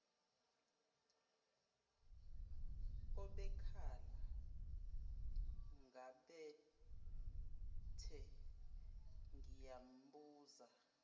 obekhala ngabathe ngiyambuza